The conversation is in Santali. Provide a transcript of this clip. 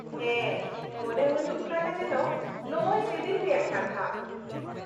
ᱦᱮᱸ ᱢᱚᱱᱮ ᱦᱩᱭᱩᱜ ᱠᱟᱱᱟ ᱡᱮᱱᱚ ᱱᱚᱜᱼᱚᱭ ᱥᱮᱫᱤᱱ ᱨᱮᱭᱟᱜ ᱠᱟᱛᱷᱟ ᱾